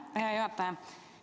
Aitäh, hea juhataja!